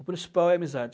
O principal é a amizade.